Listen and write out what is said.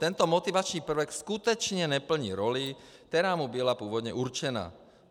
Tento motivační prvek skutečně neplní roli, která mu byla původně určena.